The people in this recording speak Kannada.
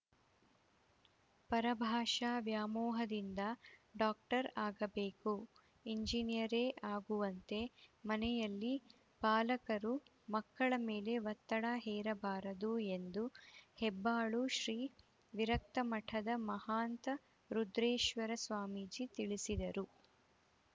ಪರಭಾಷಾ ವ್ಯಾಮೋಹದಿಂದ ಡಾಕ್ಟರ್‌ ಆಗಬೇಕು ಇಂಜಿನಿಯರೇ ಆಗುವಂತೆ ಮನೆಯಲ್ಲಿ ಪಾಲಕರು ಮಕ್ಕಳ ಮೇಲೆ ಒತ್ತಡ ಹೇರಬಾರದು ಎಂದು ಹೆಬ್ಬಾಳು ಶ್ರೀ ವಿರಕ್ತ ಮಠದ ಮಹಾಂತ ರುದ್ರೇಶ್ವರ ಸ್ವಾಮೀಜಿ ತಿಳಿಸಿದರು